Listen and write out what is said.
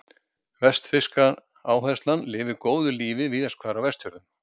Vestfirska áherslan lifir góðu lífi víðast hvar á Vestfjörðum.